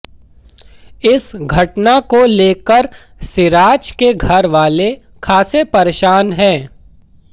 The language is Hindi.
इस घटना को लेकर सिराज के घर वाले खासे परेशान हैं